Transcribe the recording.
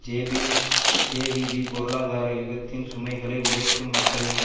JP JVP பொருளாதார யுத்தத்தின் சுமைகளை உழைக்கும் மக்கள் மீது